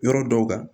Yɔrɔ dɔw kan